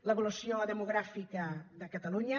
l’evolució demogràfica de catalunya